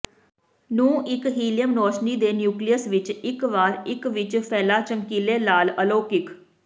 ਨੂੰ ਇੱਕ ਹੀਲੀਅਮ ਰੌਸ਼ਨੀ ਦੇ ਨਿਊਕਲੀਅਸ ਵਿਚ ਇੱਕ ਵਾਰ ਇੱਕ ਵਿੱਚ ਫੈਲਾ ਚਮਕੀਲੇ ਲਾਲ ਅਲੋਕਿਕ